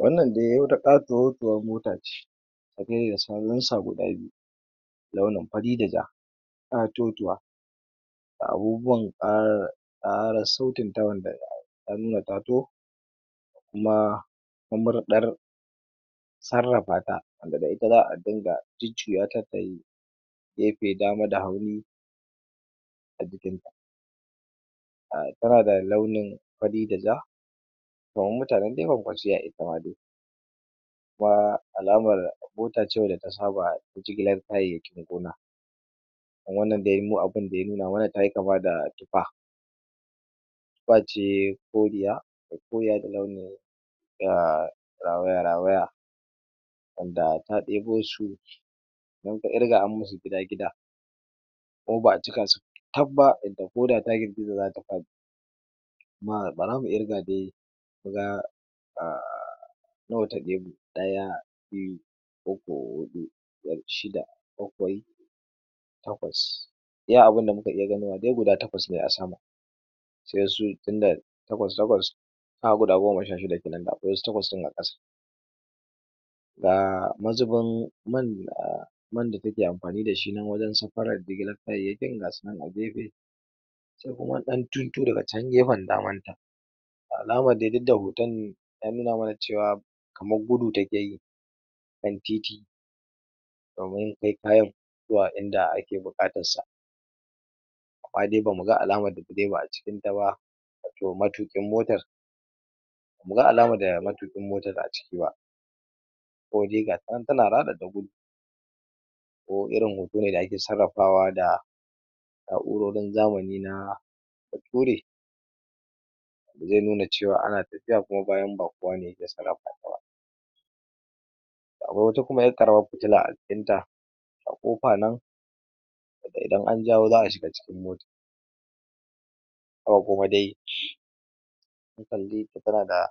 Wanna dai wata ƙatotuwar mota ce guda biyu launin fari da ja, ƙatotuwa, abubuwan ƙara ƙarassautinta wanda gaya nan an nuna ta taho kuma mamurɗar sarrafata wanda da ita za'a dinga jujjuyata tayi gefe dama da hagu a jikinta, a tana da launin fari da ja kaman mutanen dai kwankwasiyya itama dai, kuma alamar mota ce wacce ta saba jigilar kayayyakin gona, kuma wannan dai mu abinda ya nuna mana tayi kama da tifa, tifa ce koriya ai koriya da launin da rawaya rawaya, wanda ta ɗebo su in ka ƙirga an masu gida gida kuma ba'a cikasu taf ba yadda koda ta girgiza zata faɗi, kuma bara mu ƙirga dai muga a nawa ta ɗebo: Ɗaya, biyu, uku, huɗu biyar, shida, bakwai, takwas, iya abinda muka iya ganowa dai guda takwas ne a sama sai su tunda takwas takwas kaga guda goma sha shida kenan da akwai wasu takwas ɗin a ƙasa, ga mazubin man man da ta ke amfani dashi nan wajen safarar jigiilar kayayyakin ga su nan a gefe, sai kuma wani ɗan tuntu a can gefen damanta a alama dai duddda hoton ya nuna ma na ce wa kamar gudu takeyi kan titi domin kai kayan zuwa inda ake buƙatassa, amma dai ba mu ga alama de ba a cikinta ba, wato matuƙin motar ba mu ga alamar da matuƙin motar a ciki ba, kode ga ta nan tana raɗaɗa gudu ko irin hoto ne da ake sarrafawa da na'urorin zamani na bature, zai nuna cewa ana tafiya kuma bayan ba kowane ya ke sarrafa ta ba, da akwai kuwa 'yar ƙaramar fitila a jikinta a ƙofa nan wanda idan an jawo za'a shiga cikin motai, sama kuma dai zan de ta tana da